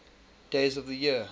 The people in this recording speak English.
days of the year